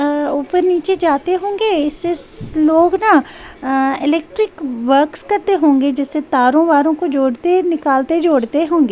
अ ऊपर नीचे जाते होंगे इससे लोग ना अ इलेक्ट्रिक वर्क्स करते होंगे जैसे तारों वारों को जोड़ते निकालते जोड़ते होंगे।